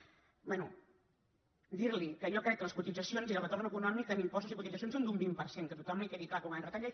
bé dir li que jo crec que les cotitzacions i el retorn econòmic en impostos i cotitzacions són d’un vint per cent que a tothom li quedi clar que ho van retallar